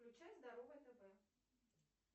включай здоровое тв